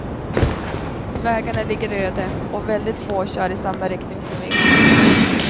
Vägarna ligger öde och väldigt få kör i samma riktning som vi.